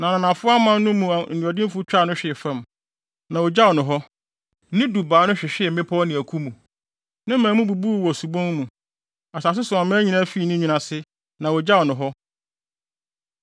na ananafo aman no mu anuɔdenfo twaa no hwee fam, na ogyaw no hɔ. Ne dubaa no hwehwee mmepɔw ne aku mu; ne mman mu bubuu wɔ subon mu. Asase so aman nyinaa fii ne nwini ase, na wogyaw no hɔ.